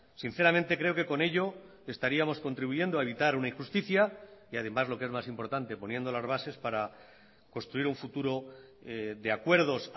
sinceramente creo que con ello estaríamos contribuyendo a evitar una injusticia y además lo que es más importante poniendo las bases para construir un futuro de acuerdos